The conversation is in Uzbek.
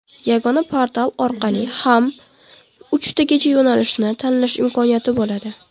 Yagona portal orqali ham uchtagacha yo‘nalishni tanlash imkoniyati bo‘ladi.